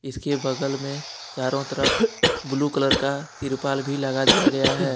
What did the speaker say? इसके बगल में चारों तरफ ब्लू कलर का तिरपाल भी लगा दिया गया है।